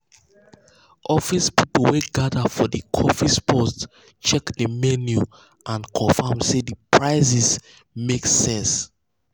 office people wey gather for the coffee spot check the menu and confirm say the prices make sense.